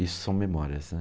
Isso são memórias, né.